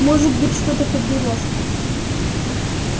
может быть что-то подберёшь